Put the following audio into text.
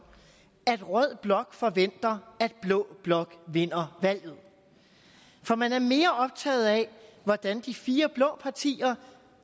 at rød blok forventer at blå blok vinder valget for man er mere optaget af hvordan de fire blå partier